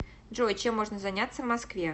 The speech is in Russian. джой чем можно заняться в москве